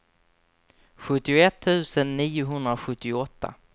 sjuttioett tusen niohundrasjuttioåtta